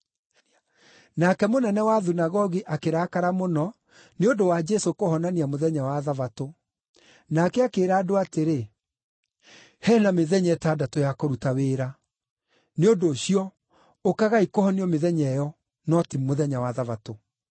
Nake mũnene wa thunagogi akĩrakara mũno nĩ ũndũ wa Jesũ kũhonania mũthenya wa Thabatũ. Nake akĩĩra andũ atĩrĩ, “He na mĩthenya ĩtandatũ ya kũruta wĩra. Nĩ ũndũ ũcio, ũkagai kũhonio mĩthenya ĩyo, no ti mũthenya wa Thabatũ.”